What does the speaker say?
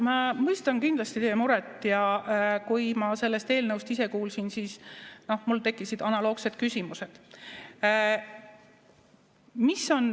Ma mõistan kindlasti teie muret ja kui ma sellest eelnõust ise kuulsin, siis mul tekkisid analoogsed küsimused.